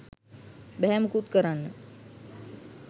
බැහැ මුකුත් කරන්න